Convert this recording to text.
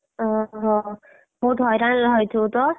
ଓହୋ, ବହୁତ ହଇରାଣରେ ରହିଥିବୁତ?